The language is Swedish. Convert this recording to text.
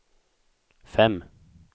fem